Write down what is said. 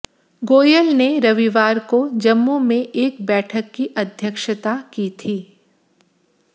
गोयल ने रविवार को जम्मू में एक बैठक की अध्यक्षता की थी